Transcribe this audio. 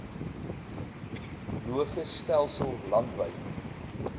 logis stelsel landwyd